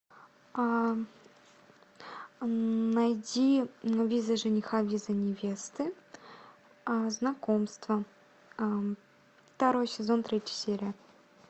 найди виза жениха виза невесты знакомства второй сезон третья серия